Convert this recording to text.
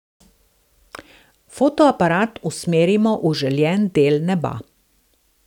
Fotoaparat usmerimo v željen del neba.